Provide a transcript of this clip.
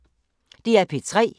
DR P3